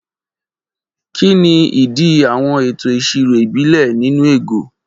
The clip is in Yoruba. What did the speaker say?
Kí ni ìdí àwọn ètò ìṣirò ìbílẹ̀ bíi nnu ego?